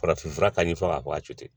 Farafinfura ka ni fɔ ka bɔ a to ten